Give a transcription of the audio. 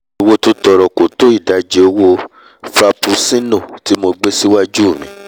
iye owó tó tọọrọ kò tó ìdajì owo frapuccinno tí mo gbé síwájú mi